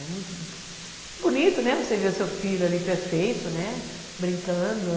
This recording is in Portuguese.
É muito, bonito, né, você ver o seu filho ali, perfeito, né, brincando.